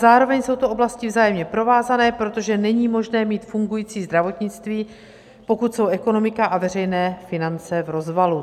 Zároveň jsou to oblasti vzájemně provázané, protože není možné mít fungující zdravotnictví, pokud jsou ekonomika a veřejné finance v rozvalu.